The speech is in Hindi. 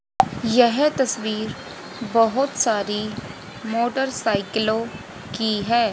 यह तस्वीर बहोत सारी मोटरसाइकिलों की है।